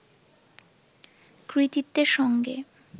কৃতিত্বের সঙ্গে